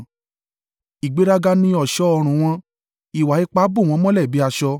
Ìgbéraga ni ọ̀ṣọ́ ọrùn wọn; ìwà ipá bò wọ́n mọ́lẹ̀ bí aṣọ.